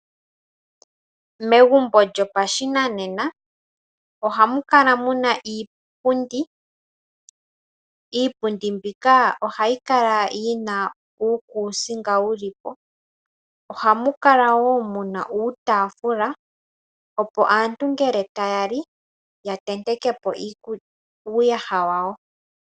Megumbo lyopashinanena oha mu kala muna iipundi. Iipundi mbika ohayi kala yi na uukusinga wuli po. Ohamu kala wo muna uutafula opo aantu ngele taya li ya tenteke po uuyaha wawo.